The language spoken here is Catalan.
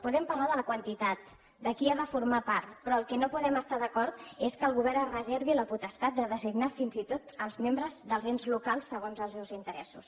podem parlar de la quantitat de qui n’ha de formar part però en el que no podem estar d’acord és que el govern es reservi la potestat de designar fins i tot els membres dels ens locals segons els seus interessos